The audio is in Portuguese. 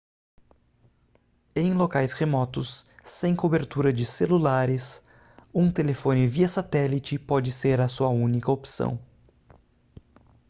em locais remotos sem cobertura de celulares um telefone via satélite pode ser a sua única opção